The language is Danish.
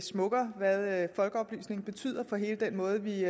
smukkere hvad folkeoplysningen betyder for hele den måde vi